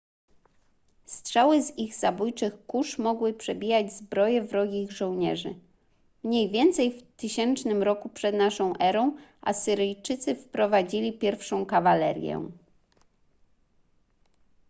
strzały z ich zabójczych kusz mogły przebijać zbroje wrogich żołnierzy mniej więcej w 1000 r p.n.e. asyryjczycy wprowadzili pierwszą kawalerię